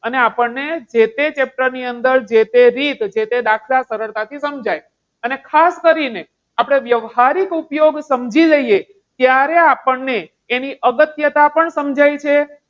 આને આપણને જે તે chapter ની અંદર જે તે રીત જે તે દાખલા સરળતાથી સમજાય. અને ખાસ કરીને, આપણે વ્યવહારિક ઉપયોગ સમજી લઈએ ત્યારે આપણને એની અગત્યતા પણ સમજાય છે.